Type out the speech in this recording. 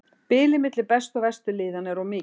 Bilið milli bestu og verstu liðanna er of mikið.